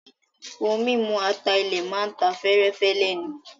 Ohun mímu ata-ilẹ̀ máa ta fẹ́ẹ́rẹ́fẹ́ lẹ́nu.